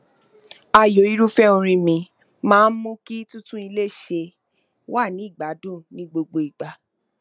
ààyò irúfẹ orin mi máa n mú kí títún ilé ṣe wà ní ìgbádùn ní gbogbo ìgbà